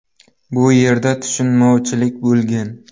Bu yerda tushunmovchilik bo‘lgan.